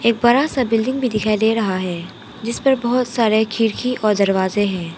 बड़ा सा बिल्डिंग भी दिखाई दे रहा है जिस पर बहुत सारे खिड़की और दरवाजे हैं।